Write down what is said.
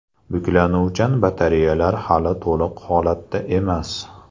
Buklanuvchan batareyalar hali to‘liq holatda emas.